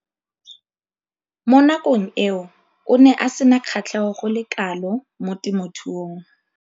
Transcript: Mo nakong eo o ne a sena kgatlhego go le kalo mo temothuong.